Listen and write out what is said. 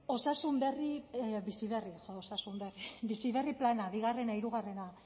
bizi berri plana bigarren hirugarren